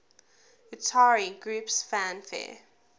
utari groups fanfare